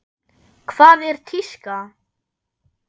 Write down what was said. Hvað er tíska?